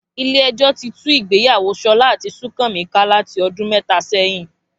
Ilé ẹjọ́ ti tú ìgbéyàwó Ṣọlá àti Súnkànmí ká láti ọdún mẹ́ta sẹ́yìn